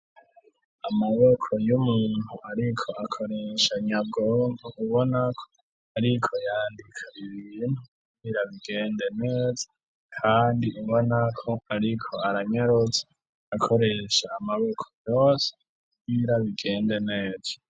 Amaboko y'umuntu, ariko akoresha nyabwonga ubonako, ariko yandika ira ibintu nirabigende neza, kandi ubonako, ariko aranyarotsa akoresha amaboko yose y'irabigende neza.